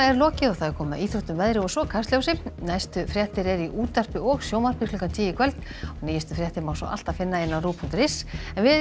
lokið og komið að íþróttum veðri og svo Kastljósi næstu fréttir eru í útvarpi og sjónvarpi klukkan tíu í kvöld og nýjustu fréttir má alltaf finna á rúv punktur is en við